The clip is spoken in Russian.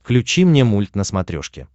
включи мне мульт на смотрешке